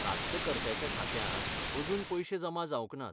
प्राप्तकर्त्याच्या खात्यांत अजून पयशे जमा जावंक नात.